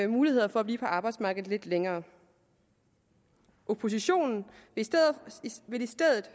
muligheder for at blive på arbejdsmarkedet lidt længere oppositionen vil i stedet